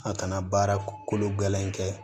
A kana baara kolo gɛlɛn kɛ